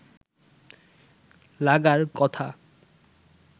লাগার কথা